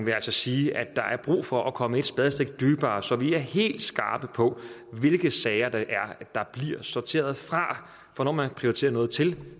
jeg altså sige at der er brug for at komme et spadestik dybere så vi er helt skarpe på hvilke sager der bliver sorteret fra for når man prioriterer noget til